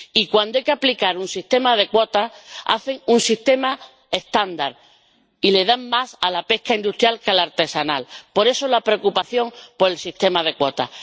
Y cuando hay que aplicar un sistema de cuotas hacen un sistema estándar y le dan más a la pesca industrial que a la artesanal, de ahí la preocupación por el sistema de cuotas.